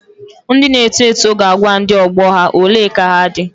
Ndị na-eto eto ga-agwa ndị ọgbọ ha " ole ka ha dị.